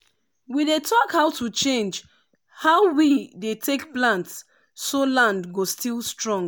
we dey talk how to change how we dey take plant so land go still strong.